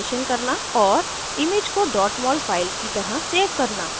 * और image को mol file की तरह सेव करना